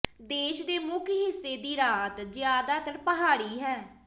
ਦੇਸ਼ ਦੇ ਮੁੱਖ ਹਿੱਸੇ ਦੀ ਰਾਹਤ ਜਿਆਦਾਤਰ ਪਹਾੜੀ ਹੈ